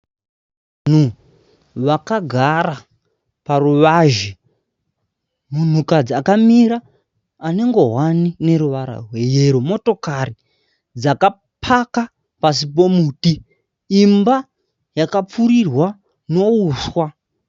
Vanhu vakagara paruwazhe. Munhukadzi akamira ane ngowani ine ruwara rwe yero. motokari dzakapaka pasi pomuti imba dzakapfurirwa nouswa.